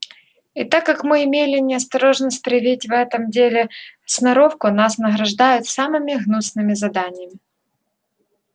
и так как мы имели неосторожность проявить в этом деле сноровку нас награждают самыми гнусными заданиями